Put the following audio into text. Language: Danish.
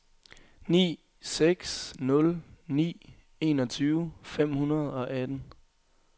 ni seks nul ni enogtyve fem hundrede og atten